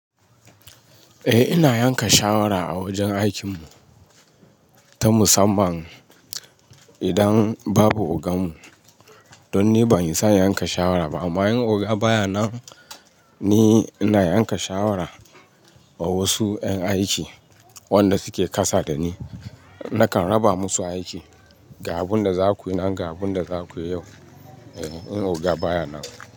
Eh ina yanka shawara a wajen aikin mu ta musamman idan babu ogan mu. Don ni ban iya yanka shawara ba amma in oga baya nan, ni ina yanka shawara wa wasu ƴan aiki wanda suke kasa da ni. Nakan raba musu aiki, ga abunda zakuyi nan, ga abunda zakuyi yau. Eh in oga baya nan.